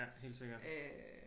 Ja helt sikkert